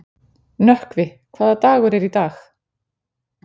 Nökkvi, hvaða dagur er í dag?